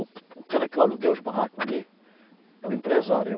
O ca, o cara que eu aluguei os barraco ali, é um empresário.